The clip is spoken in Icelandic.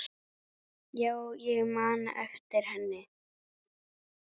Já, ég man eftir henni.